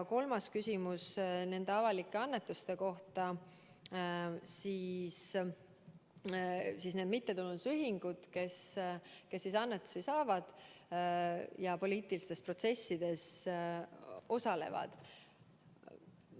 Kolmas küsimus oli avalike annetuste kohta, mida saavad ka mittetulundusühingud, kes poliitilistes protsessides osalevad.